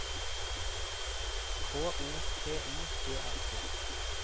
K O P I E R T